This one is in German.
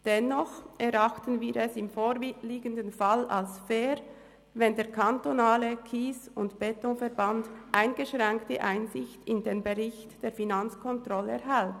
Dennoch erachten wir es im vorliegenden Fall als fair, wenn der KSE Bern eingeschränkte Einsicht in den Bericht der Finanzkontrolle erhält.